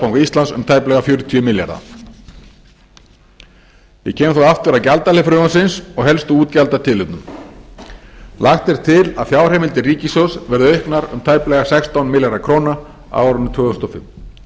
seðlabanka íslands um tæplega fjörutíu milljarða ég kem þá aftur að gjaldahlið frumvarpsins og helstu útgjaldatilefnum lagt er til að fjárheimildir ríkissjóðs verði auknar um tæplega sextán milljarða króna á árinu tvö þúsund og fimm